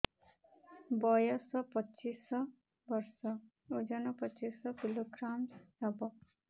ବୟସ ପଚିଶ ବର୍ଷ ଓଜନ ପଚିଶ କିଲୋଗ୍ରାମସ ହବ